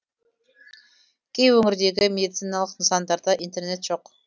кей өңірдегі медициналық нысандарда интернет жоқ